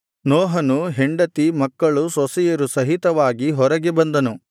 ನೋಹನು ಹೆಂಡತಿ ಮಕ್ಕಳು ಸೊಸೆಯರು ಸಹಿತವಾಗಿ ಹೊರಗೆ ಬಂದನು